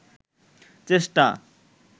চেষ্টা